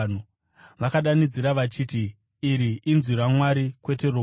Vakadanidzira vachiti, “Iri inzwi ramwari, kwete romunhu.”